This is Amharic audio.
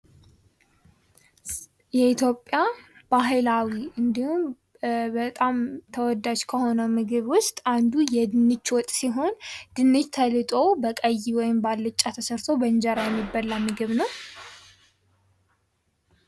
የኢትዮጵያ ባህላዊ እንዲሁም በጣም ተወዳጅ ከሆነው ምግብ ውስጥ አንዱ የድንች ወጥ ሲሆን ድንች ተልጦ በቀዩ ወይም በዓልጫ ተሰርቶ የእንጀራ የሚበላ ምግብ ነው።